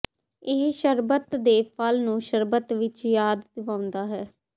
ਇਹ ਸ਼ਰਬਤ ਦੇ ਫਲ ਨੂੰ ਸ਼ਰਬਤ ਵਿਚ ਯਾਦ ਦਿਵਾਉਂਦਾ ਹੈ